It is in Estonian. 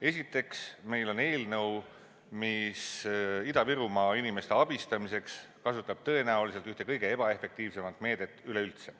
Esiteks, meil on eelnõu, mis Ida-Virumaa inimeste abistamiseks kasutab tõenäoliselt ühte kõige ebaefektiivsemat meedet üleüldse.